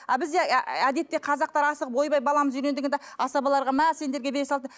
а бізде әдетте қазақтар асығып ойбай баламыз үйлен дегенде асабаларға мә сендерге бере салды